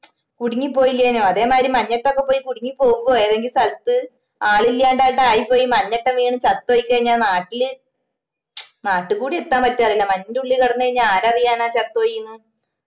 കുടുങ്ങി പോയില്ലെന്നോ അതേമായിരി മഞ്ഞത്തൊക്കെ പോയി കുടുങ്ങി പോവ്വുവോ ഏതെങ്കിലും സ്ഥലത്ത് ആളില്ലാണ്ടാട്ടം ആയിപോയി മഞ്ഞത്താറ്റം വീണ് ചത്തു പോയി കയിഞ്ഞാ നാട്ടില് നാട്ടിലൂടി എത്താൻ പറ്റോ അറില്ല മഞ്ഞിന്റുള്ളിൽ കിടന്ന് കഴിഞ്ഞ ആരറിയാനാ ചത്തുപോയിന്ന്